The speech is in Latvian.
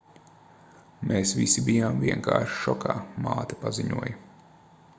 mēs visi bijām vienkārši šokā māte paziņoja